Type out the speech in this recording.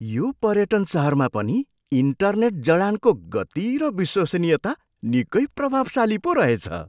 यो पर्यटन सहरमा पनि इन्टरनेट जडानको गति र विश्वसनीयता निकै प्रभावशाली पो रहेछ।